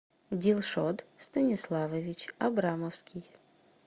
дилшот станиславович абрамовский